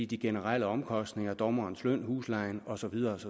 de generelle omkostninger dommerens løn huslejen og så videre